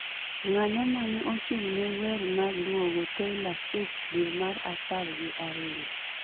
Ng'ano mane ochung' ne wer ma duogo taylor swift dwe ma apar gi ariyo